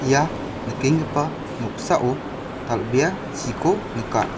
ia nikenggipa noksao dal·bea chiko nika.